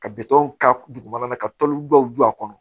Ka bitɔn k'ala ka tɔn dɔw don a kɔnɔ